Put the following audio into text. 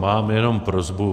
Mám jenom prosbu.